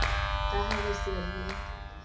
ka ha re se re